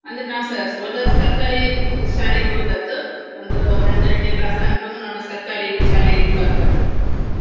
ಅಂದ್ರೆ ನಾವ್ಸ ಹೋದದ್ದು ಸರ್ಕಾರಿ ಶಾಲೆಗೆ ಹೋದದ್ದು ಒಂದು ಹನ್ನೆರಡ್ನೇ class ತನ್ಕನು ನಾನು ಸರ್ಕಾರಿ ಶಾಲೆಯಲ್ಲಿ ಕಲ್ತದ್ದು.